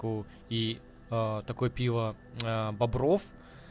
и такой пиво бобров